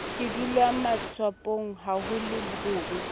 sedulwamatswapong ha ho le hobe